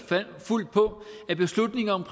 fuldt på at beslutningerne om